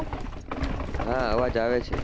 હા અવાજ આવે છે